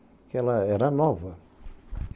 Porque ela era nova.